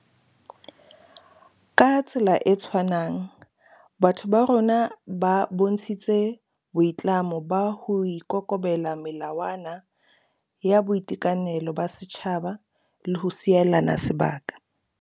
Ka tsela e tshwanang, batho ba rona ba bontshitse boi tlamo ba ho ikobela melawa na ya boitekanelo ba setjhaba le ho sielana sebaka.